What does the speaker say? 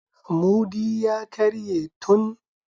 Mudubi ya karye tun.